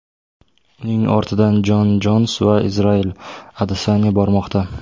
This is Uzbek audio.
Uning ortidan Jon Jons va Israel Adesanya bormoqda.